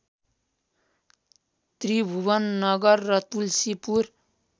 त्रिभुवननगर र तुल्सीपुर